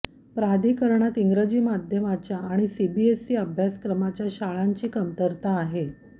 प्राधिकरणात इंग्रजी माध्यमाच्या आणि सीबीएसई अभ्यासक्रमाच्या शाळांची कमतरता आहे